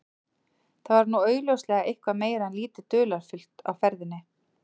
Þar var nú augljóslega eitthvað meira en lítið dularfullt á ferðinni.